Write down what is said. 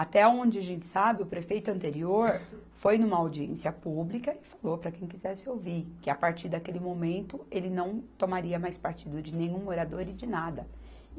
Até aonde a gente sabe, o prefeito anterior foi numa audiência pública e falou para quem quisesse ouvir, que a partir daquele momento ele não tomaria mais partido de nenhum morador e de nada.